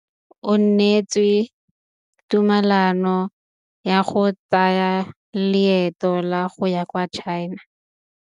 O neetswe tumalanô ya go tsaya loetô la go ya kwa China.